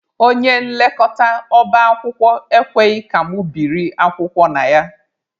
Onye nlekọta ọba akwụkwọ ekweghị ka mụ biri akwụkwọ na ya.